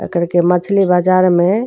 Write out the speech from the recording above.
एकर के मछली बाजार में --